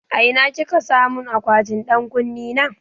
A ina kika samun akwatin ɗan ƙunne na?